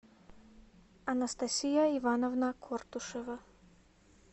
анастасия ивановна кортушева